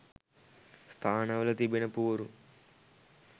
ස්ථානවල තිබෙන පුවරු